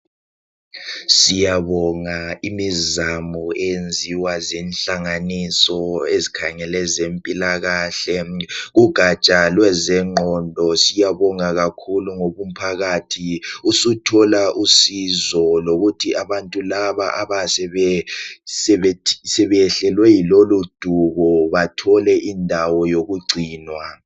Siyabonga imizamo eyenziwa zinhlanganiso ezikhangele ezempilakahle, ugatsha lwezengqondo siyabonga kakhulu ngoba umphakathi usuthola usizo lokuthi abantu laba abayabe sebeyehlelwe yiloludubo bathole indawo yokugcinwa.